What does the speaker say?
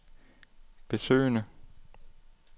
besøgende